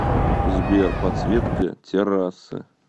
сбер подсветка террасы